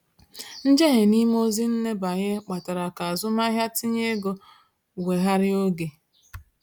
Njehie n’ime ozi nbanye kpatara ka azụmahịa ntinye ego weghaara oge.